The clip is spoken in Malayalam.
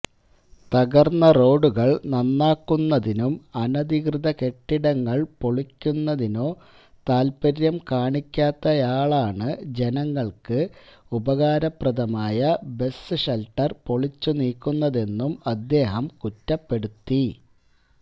തകര്ന്ന റോഡുകള് നന്നാക്കുന്നതിനും അനധികൃത കെട്ടിടങ്ങള് പൊളിക്കുന്നതിനോ താല്പര്യം കാണിക്കാത്തയാളാണ് ജനങ്ങള്ക്ക് ഉപകാരപ്രദമായ ബസ് ഷെല്ട്ടര് പൊളിച്ചുനീക്കുന്നതെന്നും അദ്ധേഹം കുറ്റപ്പെടുത്തി